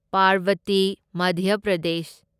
Parbati Madhya Pradesh